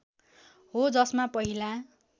हो जसमा पहिला